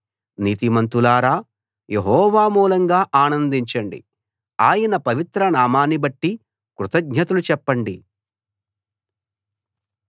నీతిమంతులారా యెహోవా మూలంగా ఆనందించండి ఆయన పవిత్ర నామాన్ని బట్టి కృతజ్ఞతలు చెప్పండి